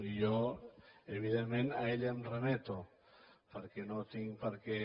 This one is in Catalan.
i jo evidentment a ell em remeto perquè no tinc per què